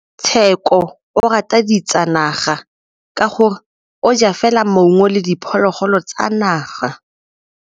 Tshekô o rata ditsanaga ka gore o ja fela maungo le diphologolo tsa naga.